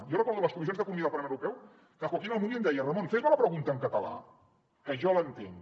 jo recordo les comissions d’economia del parlament europeu que joaquín almunia em deia ramon fes me la pregunta en català que jo l’entenc